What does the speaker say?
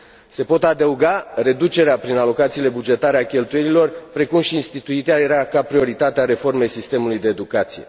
Se pot adăuga reducerea prin alocațiile bugetare a cheltuielilor, precum și instituirea ca prioritate a reformei sistemului de educație.